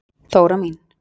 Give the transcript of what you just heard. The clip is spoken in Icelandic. Þóra mín.